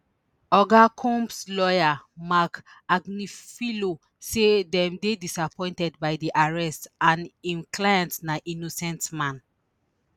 oga combs lawyer marc agnifilo say dem dey disappointed by di arrest and im client na innocent man